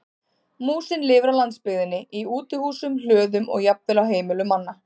Músin lifir á landsbyggðinni í útihúsum, hlöðum og jafnvel á heimilum manna.